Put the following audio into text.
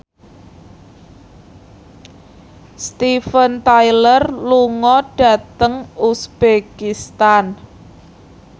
Steven Tyler lunga dhateng uzbekistan